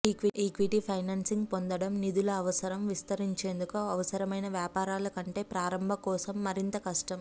equity financing పొందడం నిధుల అవసరం విస్తరించేందుకు అవసరమైన వ్యాపారాలు కంటే ప్రారంభ కోసం మరింత కష్టం